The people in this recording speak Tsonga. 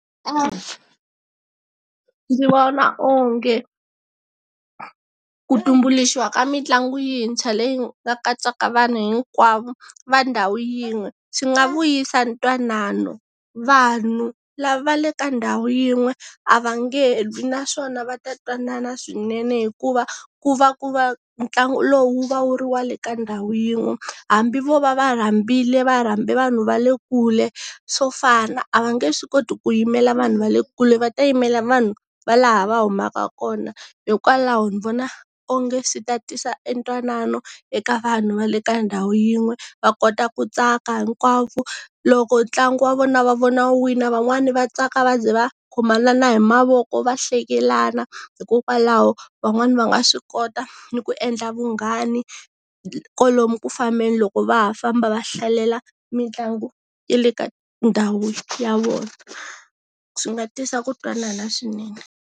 Ndzi vona onge ku tumbuluxiwa ka mitlangu yintshwa leyi nga katsaka vanhu hinkwavo, va ndhawu yin'we, swi nga vuyisa ntwanano. Vanhu lava le ka ndhawu yin'we a va nge lwi naswona va ta twanana swinene, hikuva ku va ku va ntlangu lowu va wu ri wale ka ndhawu yin'we. Hambi vo va rhambile va rhambe vanhu va le kule, swo fana, a va nge swi koti ku yimela vanhu va le kule va ta yimela vanhu va laha va humaka kona. Hikokwalaho ni vona onge swi ta tisa e ntwanano eka vanhu va le ka ndhawu yin'we, va kota ku tsaka hinkwavo. Loko ntlangu wa vona va vona wina van'wani va tsaka va ze va khomana na hi mavoko va hlekelana, hikokwalaho, van'wani va nga swi kota ni ku endla vunghani kwalomu ku fambeni loko va ha famba va hlalela mitlangu ya le ka ndhawu ya vona. Swi nga tisa ku twanana swinene.